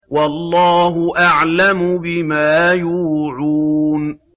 وَاللَّهُ أَعْلَمُ بِمَا يُوعُونَ